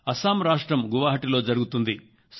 అస్సాం రాష్ట్రంలోని గౌహతి లో జరుగుతుంది